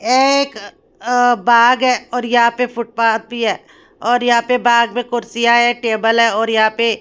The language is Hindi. ए एक अ बाग है और यहां पे फुटपाथ भी हैं और यहां पे बाघ में कुर्सियां है टेबल है और यहां पे--